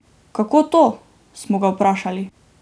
Kako to, smo ga vprašali?